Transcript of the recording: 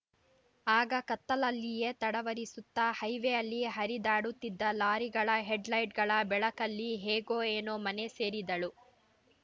ಆಗ ಕತ್ತಲ್ಲಲ್ಲಿಯೇ ತಡವರಿಸುತ್ತಾ ಹೈವೇಯಲ್ಲಿ ಹರಿದಾಡುತ್ತಿದ್ದ ಲಾರಿಗಳ ಹೆಡ್‌ ಲೈಟ್‌ಗಳ ಬೆಳಕಲ್ಲಿ ಹೇಗೋ ಏನೋ ಮನೆ ಸೇರಿದ್ದಳು